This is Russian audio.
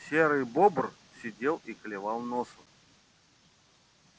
серый бобр сидел и клевал носом